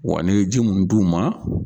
Wa n'e ye ji munnu d'u ma